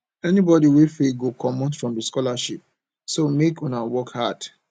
anybody wey fail go comot from the scholarship so maje una work hard